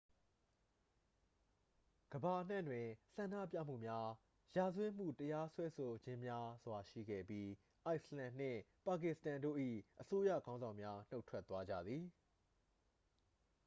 ကမ္ဘာအနှံ့တွင် ဆန္ဒပြမှုများ ရာဇဝတ်မှု တရားစွဲဆိုခြင်းများစွာ ရှိခဲ့ပြီး အိုက်စ်လန်နှင့် ပါကစ္စတန်တို့၏ အစိုးရခေါင်းဆောင်များ နှုတ်ထွက်သွားကြသည်